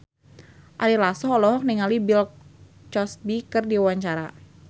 Ari Lasso olohok ningali Bill Cosby keur diwawancara